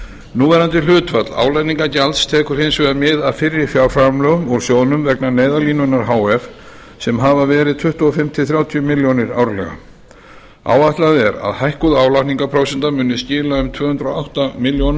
núverandi hlutfall álagningargjalds tekur hins vegar mið af fyrri fjárframlögum úr sjóðnum vegna neyðarlínunnar h f sem hafa verið tuttugu og fimm til þrjátíu milljónir árlega áætlað er að hækkuð álagningarprósenta muni skila um tvö hundruð og átta milljónum